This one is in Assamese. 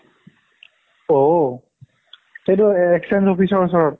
ঔ সেইটো exchange office ওচৰত